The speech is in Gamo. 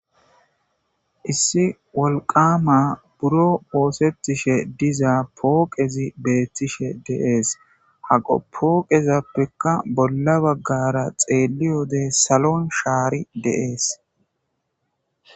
issi wolqama buro oosettishe diza pooqezi beettishe de7ees haqo pooqezappekka bolla baggara xeeliyode salon shaari de7ees